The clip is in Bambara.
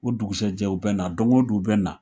O dugusɛjɛ u bɛ na doŋo don u bɛ na